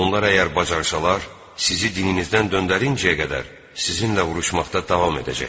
Onlar əgər bacarışalar sizi dininizdən döndərincəyə qədər sizinlə vuruşmaqda davam edəcəklər.